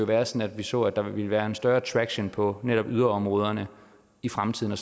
være sådan at vi så at der ville være en større attraction på netop yderområderne i fremtiden og